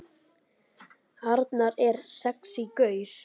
Arnar er sexí gaur.